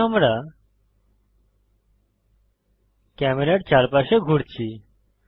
এখন আমরা ক্যামেরার চারপাশে ঘুরছি